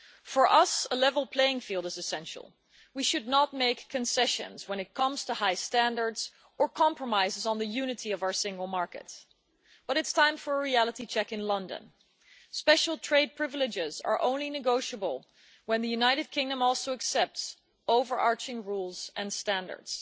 For us, a level playing field is essential. We should not make concessions when it comes to high standards or compromises on the unity of our single market, but it is time for a reality check in London special trade privileges are only negotiable when the United Kingdom also accepts overarching rules and standards.